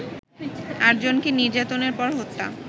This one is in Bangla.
আটজনকে নির্যাতনের পর হত্যা